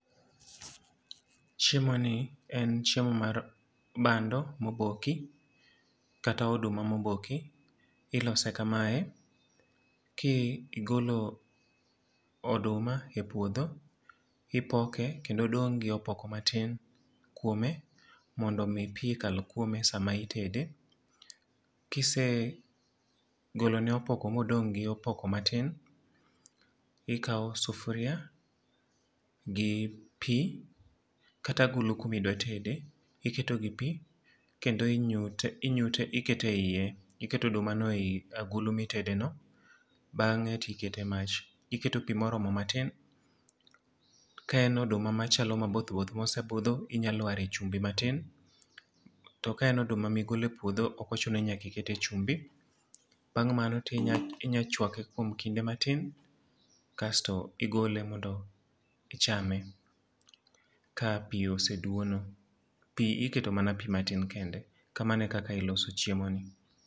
Chiemo ni en chiemo mar bando moboki, kata oduma moboki. Ilose kamae, ki igolo oduma e puodho, ipoke kendo odong gi opoko matin kuome, mondo omi pi kal kuome sama itede. Kise golo ne opoko ma odong' gi opoko matin, ikawo sufria gi pi, kata agulu kuma idwa tede. Iketo gi pi, kendo inyute, inyute ikete e iye, iketo oduma no ei agulu ma itede no. Bangé to ikete e mach. Iketo pi moromo matin. Ka en oduma machalo maboth both ma osebudho, inyalware chumbi matin. To ka en oduma ma igolo e puodho ok ochuno ni nyaka ikete chumbi. Bang' mano to inya chwake kuom kinde matin, kasto igole mondo ichame ka pi oseduono. Pi iketo mana pi matin kende. Kamano e kaka iloso chiemo ni.